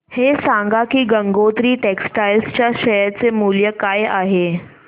हे सांगा की गंगोत्री टेक्स्टाइल च्या शेअर चे मूल्य काय आहे